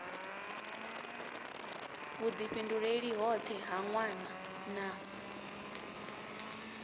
vhudifhinduleli hoṱhe ha nwana na